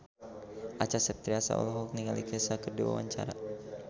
Acha Septriasa olohok ningali Kesha keur diwawancara